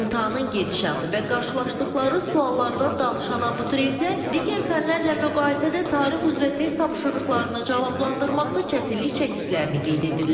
İmtahanın gedişatı və qarşılaşdıqları suallardan danışan abituriyentlər digər fənlərlə müqayisədə tarix üzrə test tapşırıqlarını cavablandırmaqda çətinlik çəkdiklərini qeyd edirlər.